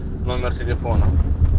номер телефона